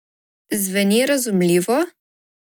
Zveni razumljivo?